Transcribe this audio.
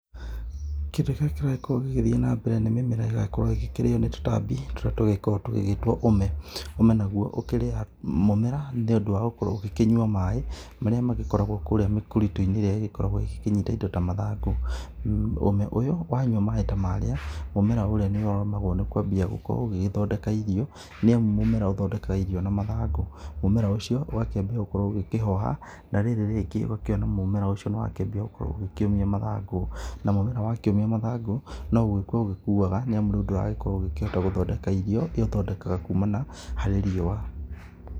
Kĩndũ kĩrĩa kĩragĩkorwo gĩgĩthiĩ na mbere nĩ mĩmera ĩkĩrĩo nĩ tũtambi tũrĩa tũgĩkoragwo tũgĩgĩtwo ũme. Ũme naguo ũkĩrĩaga mũmera nĩ ũndũ wa gũkorwo ũgĩkĩnyua maaĩ marĩa magĩkoragwo mĩkũritũ-inĩ ĩrĩa ĩgĩkoragwo ĩkĩnyita indo ta mathangũ. Ũme ũyũ wanyua maaĩ ta marĩa mũmera ũrĩa nĩrĩo ũremagwo nĩ kũambia gũgĩthondeka irio, nĩ amu mũmera ũthondekaga irio na mathangũ mũmera ũcio ũgakĩambia gũkorwo ũgĩkĩhoha na rĩrĩ rĩngĩ ũgakĩona mũmera ũcio nĩ wakĩambia gũkorwo ũgĩkĩũmia mathangũ. Na mũmera wakĩũmia mathangũ no gũkua ũgĩkuaga, nĩ amu rĩu ndũrakĩhota gũkorwo ũgĩthondeka irio irĩa ũthondekaga kũmana harĩ riũa.